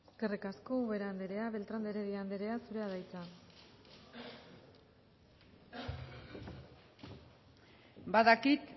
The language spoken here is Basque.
eskerrik asko ubera andrea beltrán de heredia andrea zurea da hitza badakit